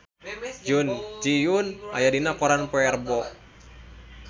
Jun Ji Hyun aya dina koran poe Rebo